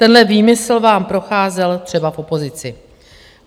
Tenhle výmysl vám procházel třeba v opozici.